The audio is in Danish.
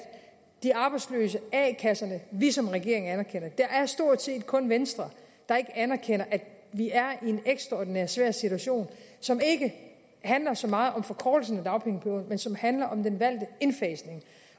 de arbejdsløse a kasserne vi som regering anerkender det det er stort set kun venstre der ikke anerkender at vi er i en ekstraordinært svær situation som ikke handler så meget om forkortelsen af dagpengeperioden men som handler om den valgte indfasning